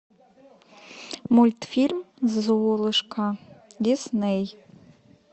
мультфильм золушка дисней